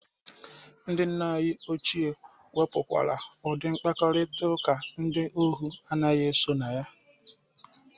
Nna anyị ochie ha nwebụkwara udị mkparịtaụka ndị ohu anaghị eso na ya.